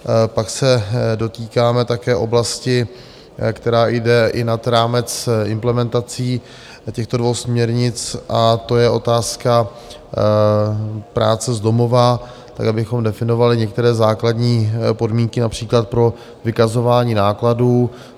Pak se dotýkáme také oblasti, která jde i nad rámec implementací těchto dvou směrnic, a to je otázka práce z domova, kde bychom definovali některé základní podmínky, například pro vykazování nákladů.